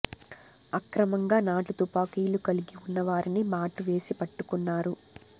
అక్రమంగా నాటు తుపాకీలు కలిగి ఉన్న వారిని మాటు వేసి పట్టుకున్నారు